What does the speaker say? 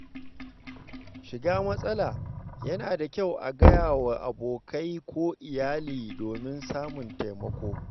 shiga matsala, yana da kyau a gaya wa abokai ko iyali domin samun taimako.